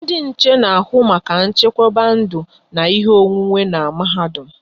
Ndị nche n'ahụ maka nchekwaba ndụ na ihe onwunwe n'mahadum